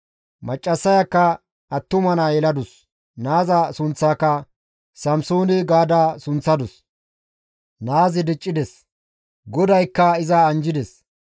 Maccassayakka attuma naa yeladus; naaza sunththaaka Samsoone gaada sunththadus. Naazi diccides; GODAYKKA iza anjjides.